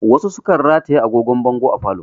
Wasu sukan rataye agogon bango a falo